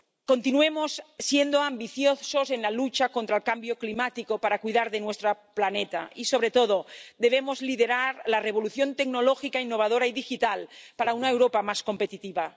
Continuemos siendo ambiciosos en la lucha contra el cambio climático para cuidar de nuestro planeta y, sobre todo, lideremos la revolución tecnológica, innovadora y digital para una Europa más competitiva.